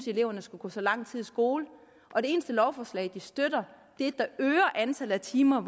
at eleverne skulle gå så lang tid i skole og det eneste lovforslag de støtter er et der øger antallet af timer